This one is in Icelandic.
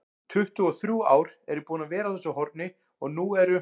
tuttugu-og-þrjú ár er ég búinn að vera á þessu horni og nú eru